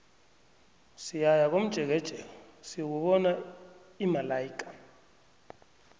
siyaya komjekejeke siyokubona imalaika